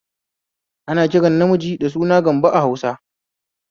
Ana kiran ƴa mace da suna Gambo